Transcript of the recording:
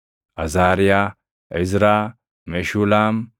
Azaariyaa, Izraa, Meshulaam,